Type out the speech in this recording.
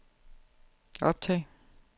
optag